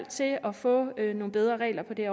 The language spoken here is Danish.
til at at få nogle bedre regler på det